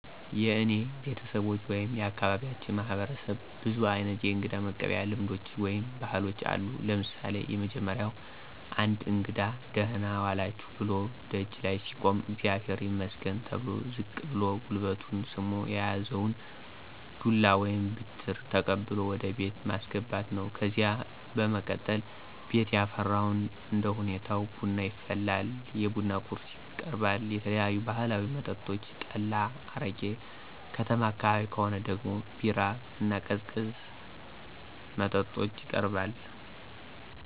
የእኔ ቤተሰቦች ወይም የአካባቢያችን ማህበረሰብ ብዙ አይነት የእንግዳ መቀበያ ልምዶች ወይም ባህሎች አሉ። ለምሳሌ፦ የመጀመሪያው አንድ እንግዳ" ደህና ዋላችሁ"ብሎ ደጅ ላይ ሲቆም አግዚአብሄር ይመስገን ተብሎ ዝቅ ብሎ ጉልበቱን ስሞ የያዘውን ዱላ ወይም ብትር ተቀብሎ ወደ ቤት ማስገባት ነው። ከዚያ በመቀጠል ቤት ያፈራውን እንደሁኔታው ቡና ይፈላል፣ የቡና ቁርስ ይቀርባል፣ የተለያዩ ባህላዊ መጠጦች ጠላ፣ አረቂ፣ ከተማ አካባቢ ከሆነ ደግሞ ቢራ እና ቀዝቃዛ መጠጦች ይቀርባል።